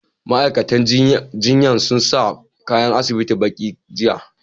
Ma'aikatan jinyan sun sa kayan asibiti baƙi, jiya.